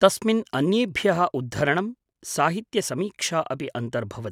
तस्मिन् अन्येभ्यः उद्धरणं, साहित्यसमीक्षा अपि अन्तर्भवत्।